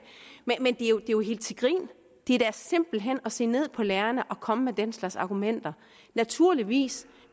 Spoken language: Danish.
er jo helt til grin det er da simpelt hen at se ned på lærerne at komme med den slags argumenter naturligvis